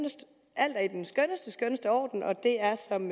alt er i den skønneste skønneste orden og at det er som